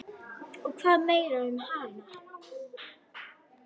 Og hvað meira um hana?